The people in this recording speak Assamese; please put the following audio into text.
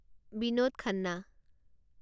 বিনোদ খান্না